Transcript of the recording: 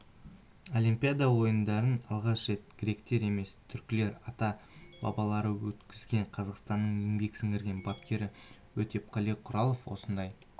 олимпиада ойындарын алғаш рет гректер емес түркілердің ата-бабалары өткізген қазақстанның еңбек сіңірген бапкері өтепқали құралов осылай